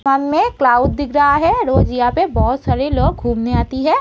शाम में क्लाउड दिख रहा है रोज यहाँ पे बहोत सारे लोग घूमने आती है।